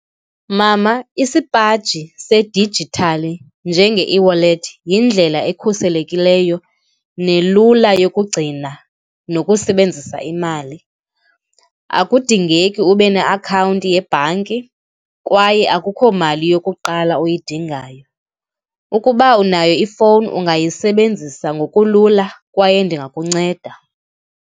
Mama, isipaji sadijithali njenge-eWallet yindlela ekhuselekileyo nelula yokugcina nokusebenzisa imali. Akundingeki ube neakhawunti yebhanki kwaye akukhomali yokuqala uyidingayo. Ukuba unayo ifowuni ungayisebenzisa ngokulula kwaye ndingakunceda